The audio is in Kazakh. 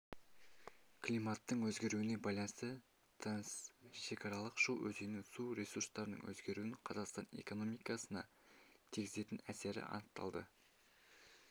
климаттың өзгеруіне байланысты трансшекаралық шу өзенінің су ресурстарының өзгеруін қазақстан экономикасына тигізетін әсері анықталды